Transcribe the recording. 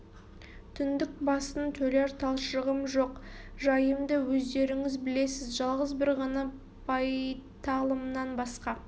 түндік басын төлер талшығым жоқ жайымды өздеріңіз білесіз жалғыз бір ғана байталымнан басқа